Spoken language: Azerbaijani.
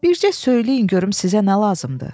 Bircə söyləyin görüm sizə nə lazımdır?